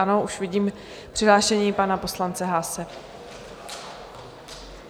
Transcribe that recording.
Ano, už vidím přihlášení pana poslance Haase.